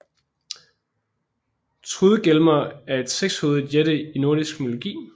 Trudgelmer er en sekshovedet jætte i nordisk mytologi